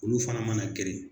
Olu fana mana geren